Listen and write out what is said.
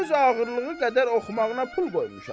Öz ağırlığı qədər oxumağına pul qoymuşam.